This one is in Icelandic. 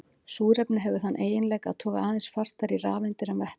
Súrefni hefur þann eiginleika að toga aðeins fastar í rafeindir en vetni.